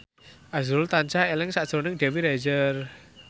azrul tansah eling sakjroning Dewi Rezer